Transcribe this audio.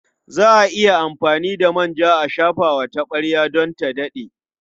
Za a iya amfani da manja a shafa wa taɓarya don ta daɗe.